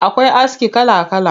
Akwai aski kala kala.